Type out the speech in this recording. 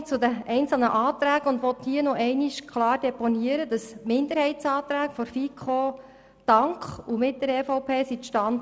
Somit komme ich zu den einzelnen Anträgen und möchte hier nochmals klar deponieren, dass die Minderheitsanträge der FiKo dank und mit der EVP zustande gekommen sind.